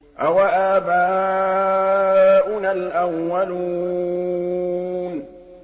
أَوَآبَاؤُنَا الْأَوَّلُونَ